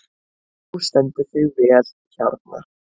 Þú stendur þig vel, Hjarnar!